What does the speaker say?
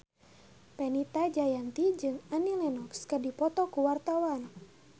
Fenita Jayanti jeung Annie Lenox keur dipoto ku wartawan